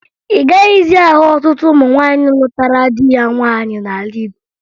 Ị gaghịzị ahụ ọtụtụ ụmụ nwaanyị lụtara di ha nwaanyị n'ala Igbo